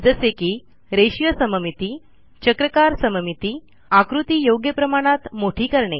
जसे की रेषीय सममिती चक्राकार सममिती आकृती योग्य प्रमाणात मोठी करणे